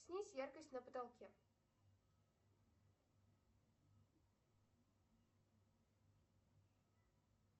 снизь яркость на потолке